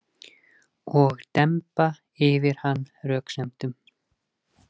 Og demba yfir hann röksemdum.